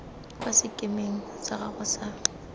kwa sekemeng sa gago sa